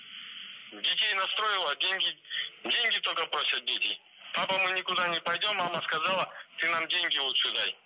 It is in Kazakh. детей настроила деньги деньги только просят дети папа мы никуда не пойдем мама сказала ты нам деньги лучше дай